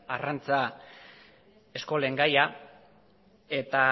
arrantza eskolen gaia eta